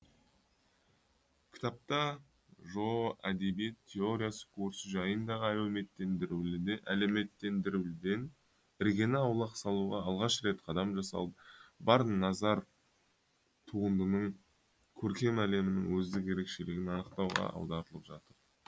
кітапта жоо әдебиет теориясы курсы жайындағы әлеуметтендірілуден іргені аулақ салуға алғаш рет қадам жасалып бар назар туындының көркем әлемінің өздік ерекшелігін анықтауға аударылып жатыр